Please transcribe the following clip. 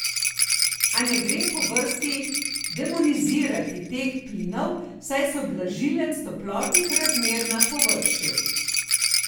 A ne gre po vrsti demonizirati teh plinov, saj so blažilec toplotnih razmer na površju.